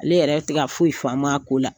Ne yɛrɛ tɛ ka foyi faam'a ko la.